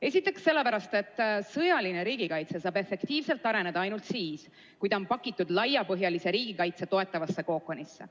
Esiteks sellepärast, et sõjaline riigikaitse saab efektiivselt areneda ainult siis, kui ta on pakitud laiapõhjalise riigikaitse toetavasse kookonisse.